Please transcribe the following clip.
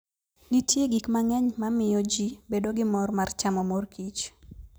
Nitie gik mang'eny ma miyo ji bedo gi mor mar chamo mor kich.